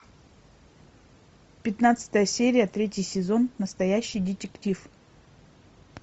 пятнадцатая серия третий сезон настоящий детектив